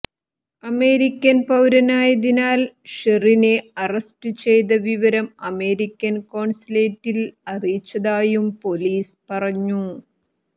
American പൌരനായതിനാൽ ഷെറിനെ arrest ചെയ്ത വിവരം അമേരിക്കൻ കോൺസുലേറ്റിൽ അറിയിച്ചതായും പൊലീസ് പറഞ്ഞു